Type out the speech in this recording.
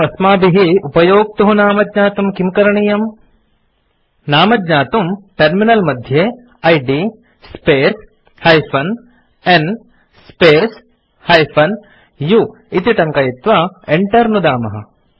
परमस्माभिः उपयोक्तुः नाम ज्ञातुं किं करणीयम् नाम ज्ञातुम् टर्मिनल मध्ये इद् स्पेस् -n स्पेस् -u इति टङ्कयित्वा enter नुदामः